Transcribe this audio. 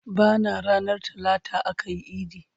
Bana ranar talata akayi idi